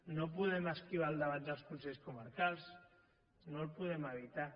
no podem esquivar el debat dels consells comarcals no el podem evitar